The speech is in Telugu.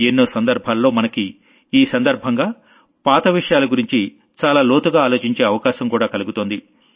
ఎన్నో సందర్భాల్లో మనకి ఈ సందర్భంగా పాత విషయాల గురించి చాలా లోతుగా ఆలోచించే అవకాశం కూడా కలుగుతోంది